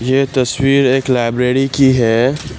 ये तस्वीर एक लाइब्रेरी की है।